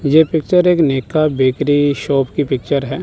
ये पिक्चर एक नेका बेकरी शॉप की पिक्चर है।